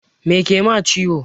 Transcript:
Me kema ciwo?